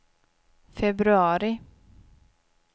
februari